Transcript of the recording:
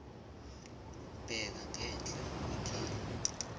bheka ngenhla ikheli